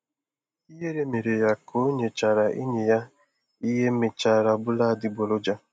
Ihere mere ya ka o nyechara enyi ya ihe mechara bụrụ adịgboroja.